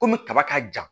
Kɔmi kaba ka jan